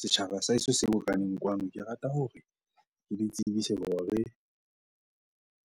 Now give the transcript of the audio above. Setjhaba sa heso se bokaneng kwano. Ke rata hore ke le tsebise hore